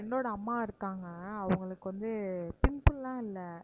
friend ஓட அம்மா இருக்காங்க அவங்களுக்கு வந்து pimple லாம் இல்ல